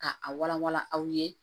Ka a walawala aw ye